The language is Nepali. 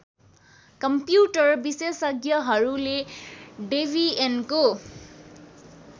कम्प्युटर विशेषज्ञहरूले डेबियनको